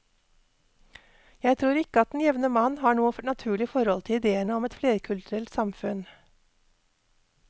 Jeg tror ikke at den jevne mann har noe naturlig forhold til idéene om et flerkulturelt samfunn.